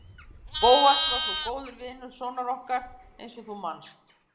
Bóas var svo góður vinur sonar okkar eins og þú manst.